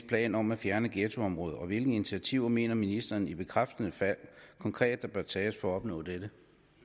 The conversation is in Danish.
plan om at fjerne ghettoområder og hvilke initiativer mener ministeren i bekræftende fald konkret der bør tages for at opnå dette